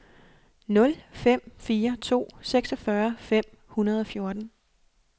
nul fem fire to seksogfyrre fem hundrede og fjorten